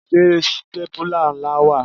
Ṣé stépìlà ńlá wà?